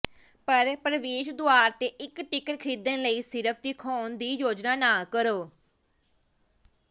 ਪਰ ਪ੍ਰਵੇਸ਼ ਦੁਆਰ ਤੇ ਇੱਕ ਟਿਕਟ ਖਰੀਦਣ ਲਈ ਸਿਰਫ ਦਿਖਾਉਣ ਦੀ ਯੋਜਨਾ ਨਾ ਕਰੋ